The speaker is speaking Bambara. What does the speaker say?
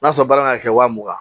N'a sɔrɔ baara kan ka kɛ waa mugan